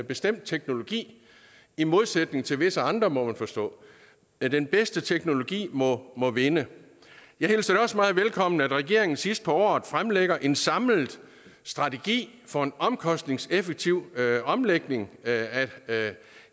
bestemt teknologi i modsætning til visse andre må man forstå den bedste teknologi må må vinde jeg hilser det også meget velkommen at regeringen sidst på året fremlægger en samlet strategi for en omkostningseffektiv omlægning af